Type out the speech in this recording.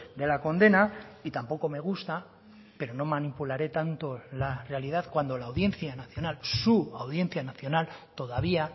de la condena y tampoco me gusta pero no manipularé tanto la realidad cuando la audiencia nacional su audiencia nacional todavía